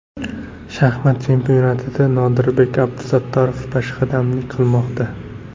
Shaxmat chempionatida Nodirbek Abdusattorov peshqadamlik qilmoqda.